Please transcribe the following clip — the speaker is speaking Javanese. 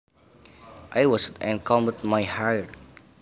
I washed and combed my hair